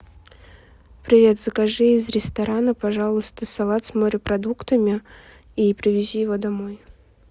привет закажи из ресторана пожалуйста салат с морепродуктами и привези его домой